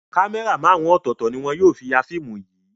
Kámẹ́rà márùn-ún ọ̀tọ̀ọ̀tọ̀ ni wọn yóò fi ya fíìmù yìí.